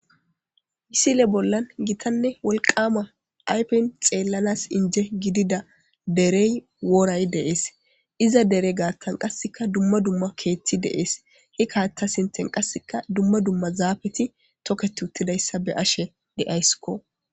isile bollan gitanne wolqama aypen xeellanas inje gidida derey wooray deees iza dere gaattan qasseka dumma dumma keethti deees hi kaata sinten qasseka dumma dumma zaafeti toket uttidayssa be ashe de7aysskko